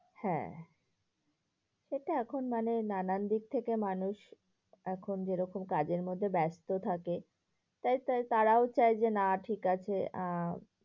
হ্যাঁ, সেটা এখন মানে নানান দিক থেকে মানুষ এখন যেরকম কাজের মধ্যে ব্যস্ত থাকে, তাই তাই তারাও চায় যে না ঠিকাছে, আহ